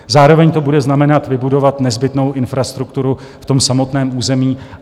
Zároveň to bude znamenat vybudovat nezbytnou infrastrukturu v tom samotném území.